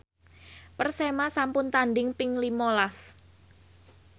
Persema sampun tandhing ping lima las